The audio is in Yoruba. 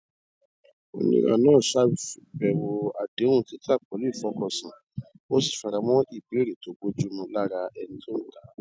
oníra náà ṣàyẹwò àdéhùn títà pẹlú ìfọkànsìn ó sì fara mọ ìbéèrè tó bojúmu lára ẹni tó ń tàá